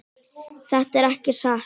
Þetta er ekki satt!